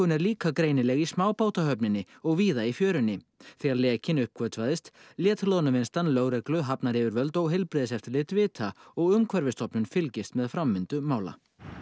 er líka greinileg í smábátahöfninni og víða í fjörunni þegar lekinn uppgötvaðist lét loðnuvinnslan lögreglu hafnaryfirvöld heilbrigðiseftirlit vita og fylgist með framvindu mála